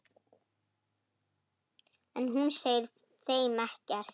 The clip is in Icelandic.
En hún segir þeim ekkert.